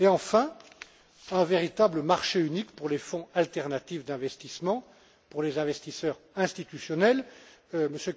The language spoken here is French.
Et enfin, un véritable marché unique pour les fonds alternatifs d'investissement pour les investisseurs institutionnels. M.